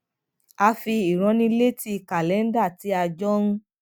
a fi ìránnilétí kàlẹńdà tí a jọ ń